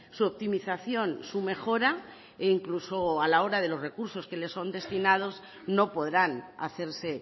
su optimización su mejora e incluso a la hora de los recursos que le son destinados no podrán hacerse